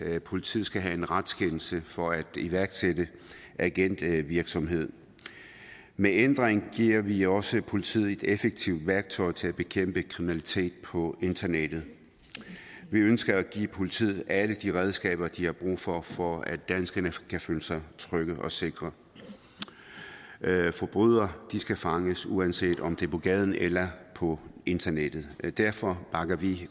at politiet skal have en retskendelse for at iværksætte agentvirksomhed med ændringen giver vi også politiet et effektivt værktøj til at bekæmpe kriminalitet på internettet vi ønsker at give politiet alle de redskaber de har brug for for at danskerne kan føle sig trygge og sikre forbrydere skal fanges uanset om det er på gaden eller på internettet derfor bakker vi i